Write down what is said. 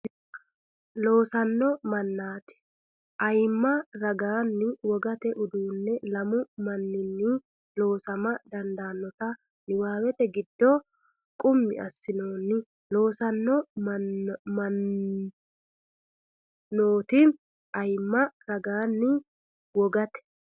Loossanno mannooti ayimma ragaanni wogate uduunni lamu man- ninni loosama dandaannota niwaawete giddo qummi assinoonni Loossanno mannooti ayimma ragaanni wogate.